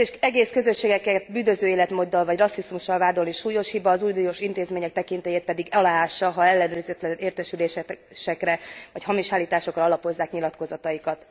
Egész közösségeket bűnöző életmóddal vagy rasszizmussal vádolni súlyos hiba, az uniós intézmények tekintélyét pedig aláássa, ha ellenőrizetlen értesülésekre vagy hamis állításokra alapozzák nyilatkozataikat.